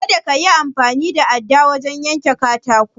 Kada kayi amfani da adda wajen yanka katakon.